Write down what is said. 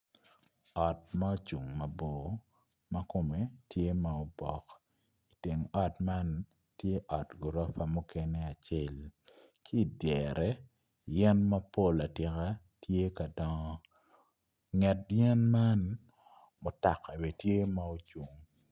Ot ma ocung mabor ma kome tye ma obok iteng ot man trye ot gurofa mukene acel idyere yen mapol atika tye ka dongo inget yen man mutoka bene tye ma ocung